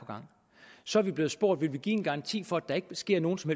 så er vi blevet spurgt om vi vil give en garanti for at der ikke sker nogen som